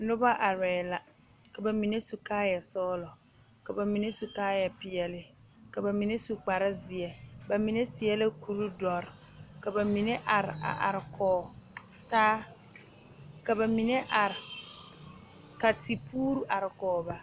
Noba arɛɛ la ka ba mine su kaayɛ sɔglɔ ka ba mine su kaayɛ peɛle ka ba mine su kpar zeɛ ba mine seɛ la kuri dɔre ka ba mine are a are kɔge taa ka ba mine are ka tepuure are kɔge ba